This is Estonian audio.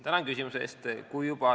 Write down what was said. Tänan küsimuse eest!